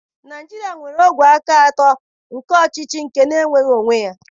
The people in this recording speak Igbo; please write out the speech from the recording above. Naịjirịa nwere ogwe aka atọ nke ọchịchị nke na-enweghị onwe ya.